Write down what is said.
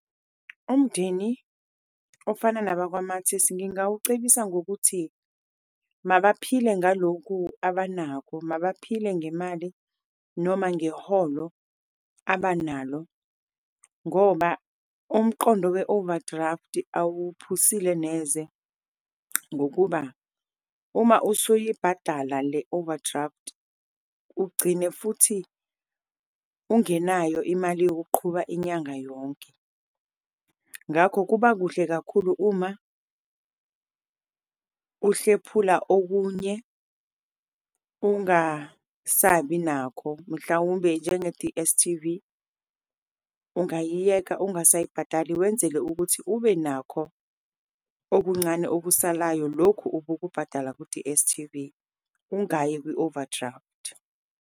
Umndeni ofana nabakwaMartins ngingawucebisa ngokuthi mabaphile ngalokhu abanakho, mabaphile ngemali noma ngeholo abanalo, ngoba umqondo we-overdraft awuphuzile neze, ngokuba uma usuyibhadala le overdraft ugcine futhi ungenayo imali yokuqhuba inyanga yonke. Ngakho kuba kuhle kakhulu uma uhlephula, okunye ungasabi nakho, mhlawumbe njenge-D_S_T_V, ungayiyeka, ungasayibhadali, wenzele ukuthi ube nakho okuncane okusalayo, lokhu ubukubhadala ku_D_S_T_V. Ungayi kwi-overdraft.